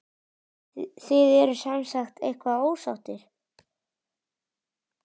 Þið eruð semsagt eitthvað ósáttir?